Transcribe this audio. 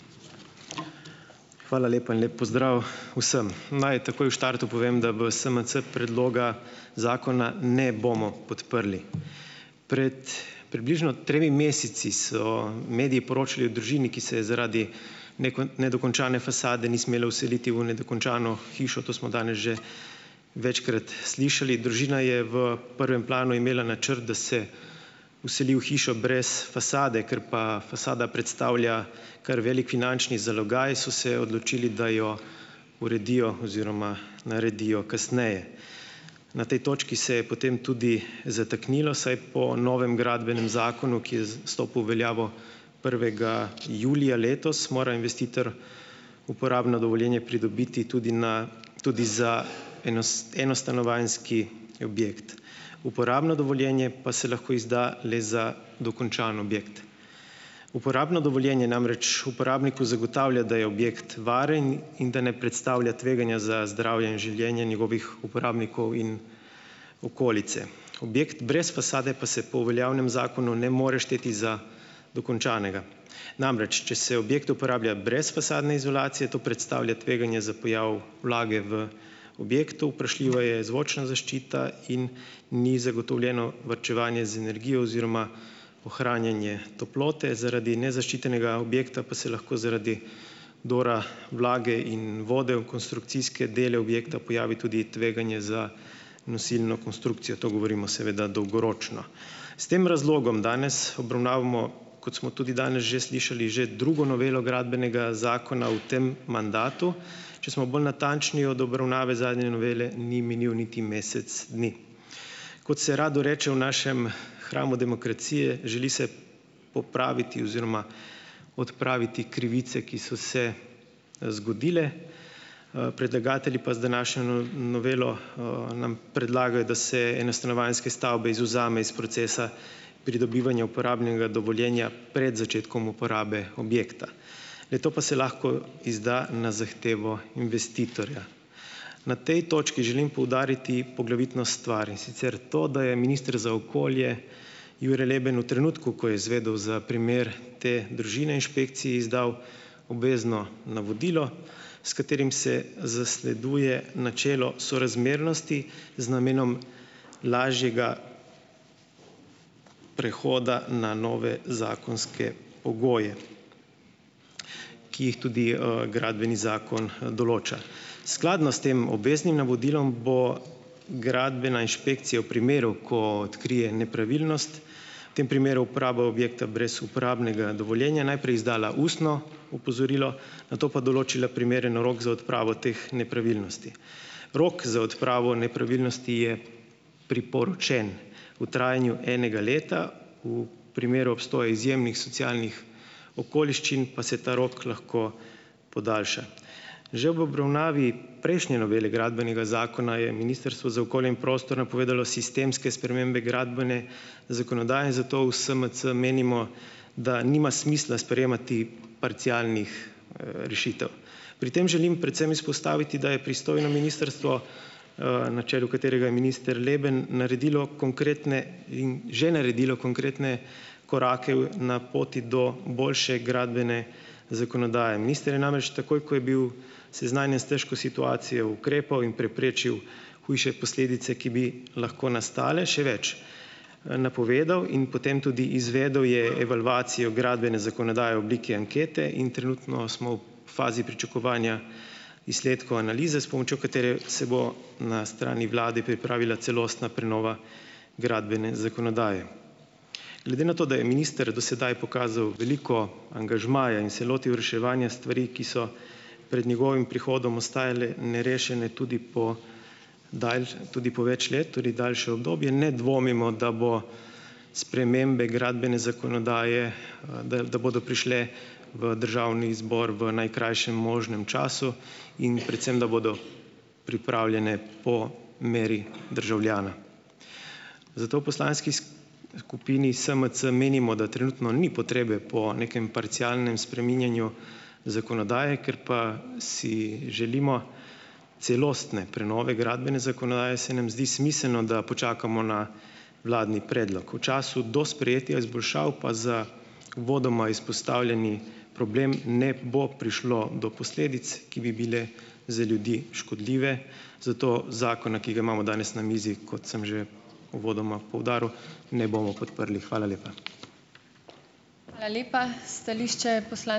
Hvala lepa in lep pozdrav vsem. Naj takoj v štartu povem, da v SMC predloga zakona ne bomo podprli. Pred približno tremi meseci so mediji poročali o družini, ki se je zaradi nedokončane fasade ni smela vseliti v nedokončano hišo, to smo danes že večkrat slišali. Družina je v prvem planu imela načrt, da se vseli v hišo brez fasade. Ker pa fasada predstavlja kar velik finančni zalogaj, so se odločili, da jo uredijo oziroma naredijo kasneje. Na tej točki se je potem tudi zataknilo, saj po novem gradbenem zakonu, ki je stopil v veljavo prvega julija letos, mora investitor uporabno dovoljenje pridobiti tudi na tudi za enostanovanjski objekt. Uporabno dovoljenje pa se lahko izda le za dokončan objekt. Uporabno dovoljenje namreč uporabniku zagotavlja, da je objekt varen in da ne predstavlja tveganja za zdravje in življenje njegovih uporabnikov in okolice. Objekt brez fasade pa se po veljavnem zakonu ne more šteti za dokončanega. Namreč, če se objekt uporablja brez fasadne izolacije, to predstavlja tveganje za pojav vlage v objektu, vprašljiva je zvočna zaščita in ni zagotovljeno varčevanje z energijo oziroma ohranjanje toplote, zaradi nezaščitenega objekta pa se lahko zaradi dobra vlage in vode v konstrukcijske dele objekta pojavi tudi tveganje za nosilno konstrukcijo. To govorimo seveda dolgoročno. S tem razlogom danes obravnavamo, kot smo tudi danes že slišali, že drugo novelo Gradbenega zakona v tem mandatu, če smo bolj natančni, od obravnave zadnje novele ni minil niti mesec dni. Kot se rado reče, v našem hramu demokracije, želi se popraviti oziroma odpraviti krivice, ki so se, zgodile, predlagatelji pa z današnjo novelo, nam predlagajo, da se enostanovanjske stavbe izvzame iz procesa pridobivanja uporabnega dovoljenja pred začetkom uporabe objekta. Le-to pa se lahko izda na zahtevo investitorja. Na tej točki želim poudariti poglavitno stvar, in sicer to, da je minister za okolje, Jure Leben, v trenutku, ko je izvedel za primer te družine, inšpekciji izdal obvezno navodilo, s katerim se zasleduje načelo sorazmernosti z namenom lažjega prehoda na nove zakonske pogoje, ki jih tudi, Gradbeni zakon, določa. Skladno s tem obveznim navodilom bo gradbena inšpekcija v primeru, ko odkrije nepravilnost, tem primeru uporaba objekta brez uporabnega dovoljenja najprej izdala ustno opozorilo, nato pa določila primeren rok za odpravo teh nepravilnosti. Rok za odpravo nepravilnosti je priporočen, v trajanju enega leta, v primeru obstoja izjemnih socialnih okoliščin pa se ta rok lahko podaljša. Že v obravnavi prejšnje novele Gradbenega zakona je Ministrstvo za okolje in prostor napovedalo sistemske spremembe gradbene zakonodaje in zato u SMC menimo, da nima smisla sprejemati parcialnih, rešitev. Pri tem želim predvsem izpostaviti, da je pristojno ministrstvo, na čelu katerega je minister Leben, naredilo konkretne in že naredilo konkretne korake v na poti do boljše gradbene zakonodaje. Minister je namreč takoj, ko je bil seznanjen s težko situacijo, ukrepal in preprečil hujše posledice, ki bi lahko nastale še več, napovedal in potem tudi izvedel je evalvacijo gradbene zakonodaje v obliki ankete in trenutno smo v fazi pričakovanja izsledkov analize, s pomočjo katere se bo na strani vlade pripravila celostna prenova gradbene zakonodaje. Glede na to, da je minister do sedaj pokazal veliko angažmaja in se lotil reševanja stvari, ki so pred njegovim prihodom ostajale nerešene tudi po tudi po več let, tudi daljše obdobje, ne dvomimo, da bo spremembe gradbene zakonodaje, da da bodo prišle v državni zbor v najkrajšem možnem času in predvsem, da bodo pripravljene po meri državljana. Zato v poslanski skupini SMC menimo, da trenutno ni potrebe po nekem parcialnem spreminjanju zakonodaje, ker pa si želimo celostne prenove gradbene zakonodaje, se nam zdi smiselno, da počakamo na vladni predlog. V času do sprejetja izboljšav pa za uvodoma izpostavljeni problem ne bo prišlo do posledic, ki bi bile za ljudi škodljive, zato zakona, ki ga imamo danes na mizi, kot sem že uvodoma poudaril, ne bomo podprli. Hvala lepa.